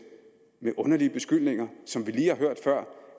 med underlige beskyldninger som vi lige har hørt før